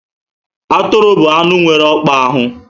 Atụrụ bụ anụ nwere ọkpa anọ